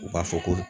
U b'a fɔ ko